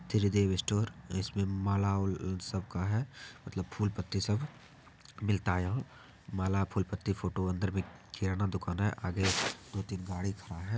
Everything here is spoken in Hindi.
त्रिदेव स्टोर इसमें माला सब का है मतलब फुल पत्ती सब मिलता है यहाँ माला फुल पत्ती फोटो अंदर भी किराना दुकान है आगे दो तीन एक गाड़ी खड़ा है।